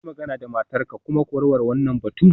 Yi magana da matarka kuma ku warware wannan batun.